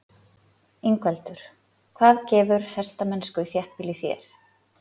Ingveldur: Hvað gefur hestamennsku í þéttbýli þér?